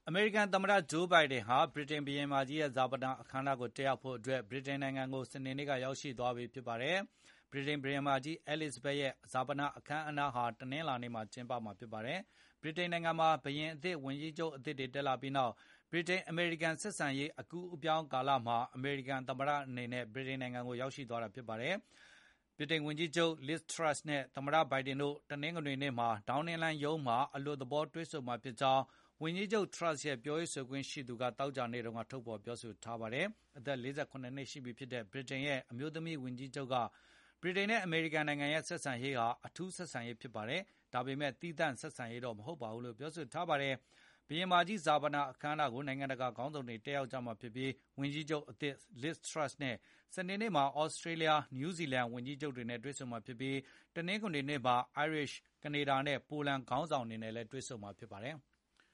အမေရိကန်သမတ ဂျိုးဘိုင်ဒင်ဟာ ဗြီတိန်ဘုရင်မကြီး ရဲ့ ဈာပနအခမ်းအနားတက်ဖို့အတွက် ဗြိတိန်နိုင်ငံကို စနေနေ့ က ရောက်ရှိသွားပြီဖြစ်ပါတယ်။ ဗြိတိန်ဘုရင်မကြီး Elizabeth II ရဲ့ ဈာပဏအခမ်းအနားဟာ တနင်္လာနေ့မှာကျင်းပမှာဖြစ်ပါတယ်။ ဗြိတိန်နိုင်ငံမှာ ဘုရင်အသစ်၊ ဝန်ကြီးချုပ်အသစ်တွေ တက်လာပြီးနောက် ဗြိတိန်အမေရိကန် ဆက်ဆံရေး အကူးအပြောင်း ကာလမှာ အမေရိကန်သမ္မတအနေနဲ့ ဗြိတိန်နိုင်ငံကို သွားရောက်တာဖြစ်ပါတယ်။ ဗြိတိန်ဝန်ကြီးချုပ် Liz Truss နဲ့ သမတ ဘိုင်ဒင်တို့ တနင်္ဂနွေနေ့မှာ ဒေါင်းနင်းလမ်းရုံးမှာ အလွတ်သေဘော တွေ့ဆုံမှာ ဖြစ်ကြောင်းဝန်ကြီးချုပ် Truss ရဲ့ ပြောရေးဆိုခွင့်ရှိသူက သောကြာနေ့တုန်းထုတ်ဖေါ်ပြောဆိုထားပါတယ်။ အသက် ၄၇ နှစ်ရှိပြီဖြစ်တဲ့ ဗြိတိန်ရဲ့ အမျိုးသမီးဝန်ကြီးချုပ်က ဗြိတိန်နဲ့ အမေရိကန်ရဲ့ ဆက်ဆံရေးဟာ “အထူးဆက်ဆံရေးဖြစ်ပါတယ်။ ဒါပေမယ့် သီးသန့်ဆက်ဆံရေးတော့ မဟုတ်ပါဘူးလို့ ပြောဆိုထားပါတယ်။ ဘုရင်မကြီး ဈာပဏ အခမ်းအနားကို နိုင်ငံတကာ က ခေါင်းဆောင်တွေ တက်ရောက်ကြမှာဖြစ်ပြီး ဝန်ကြီးချူပ်အသစ် Liz Truss နဲ့ စနေနေ့မှာ သြစတြေးလျ၊ နယူးဇီလန် ဝန်ကြီးချုပ်တွေနဲ့ တွေ့ဆုံမှာဖြစ်ပြီး၊ တနင်္ဂနွေနေ့မှာ အိုင်ယာလန်၊ ကနေဒါနဲ့ ပိုလန် ခေါင်းဆောင်တွေနဲ့ လည်းတွေ့ဆုံမှာဖြစ်ပါတယ်။